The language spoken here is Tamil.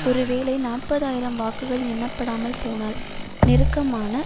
ஒருவேளை நாற்பது ஆயிரம் வாக்குகள் எண்ணப்படாமல் போனால் நெருக்கமான